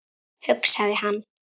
hugsaði hann.